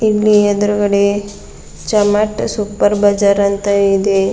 ಇಲ್ಲಿ ಎದುರುಗಡೆ ಚಮಾಟ ಸೂಪರ್ ಬಜಾರ್ ಅಂತ ಇದೆ.